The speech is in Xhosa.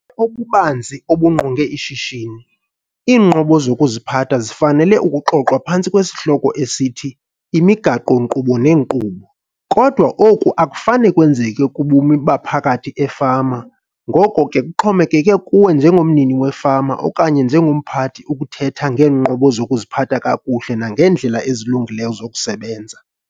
obubanzi obungqonge ishishini, iinqobo zokuziphatha zifanele ukuxoxwa phantsi kwesihloko esithi 'iMigaqo-nkqubo neeNkqubo,' kodwa oku akufane kwenzeke kubume baphakathi efama ngoko ke kuxhomekeke kuwe njengomnini wefama okanye njengomphathi ukuthetha ngeenqobo zokuziphatha kakuhle nangeendlela ezilungileyo zokusebenza.